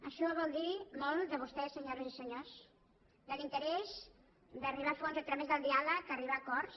això vol dir molt de vostès senyores i senyors de l’interès d’arribar a fons a través del diàleg arribar a acords